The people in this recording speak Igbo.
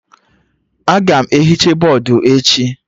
Aga m ehicha bọdụ echi